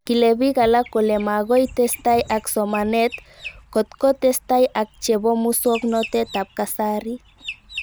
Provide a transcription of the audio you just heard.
Kile pik alak kole makoi testai ak somanet kotko tesetai ak chepo muswog'natet ab kasari